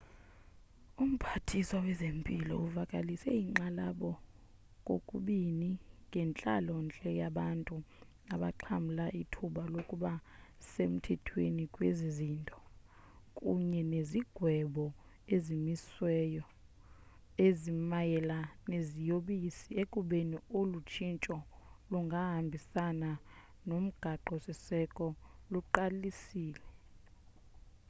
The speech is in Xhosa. umphathiswa wezempilo uvakalise inkxalabo kokubini ngentlalo-ntle yabantu abaxhamla ithuba lokuba semthethweni kwezi zinto kunye nezigwebo eziwisiweyo ezimayela neziyobisi ekubeni olu tshintsho lungahambisani nomgaqo-siseko luqalisile